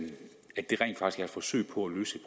forsøg på at løse